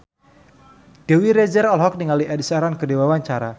Dewi Rezer olohok ningali Ed Sheeran keur diwawancara